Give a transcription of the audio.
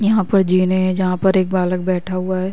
यहां पर जिन है जहां पर एक बालक बैठा हुआ है।